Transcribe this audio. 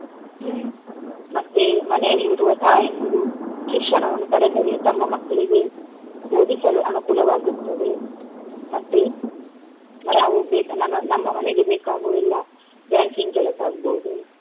ಹ್ಮ್‌ ಮತ್ತೆ ಮನೆಯಲ್ಲಿರುವ ತಾಯಂದಿರು ಶಿಕ್ಷಣವನ್ನು ಪಡೆದರೆ ತಮ್ಮ ಮಕ್ಕಳಿಗೆ ಓದಿಸಲು ಅನುಕೂಲವಾಗುತ್ತದೆ ಮತ್ತೆ ನಾವು ನಮ್ಮ ನಮ್ಮ ಮನೆಗೆ ಬೇಕಾಗುವ ಎಲ್ಲ banking ಕೆಲಸ ಆಗ್ಬೋದು.